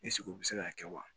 u bɛ se k'a kɛ wa